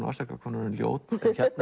afsaka hvað hún er orðin ljót